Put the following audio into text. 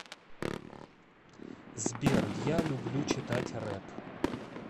сбер я люблю читать реп